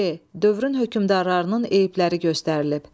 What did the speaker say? C. Dövrün hökmdarlarının eyibləri göstərilib.